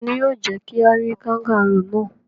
Ta ni yóò jẹ́ kí a rí kangárù náà?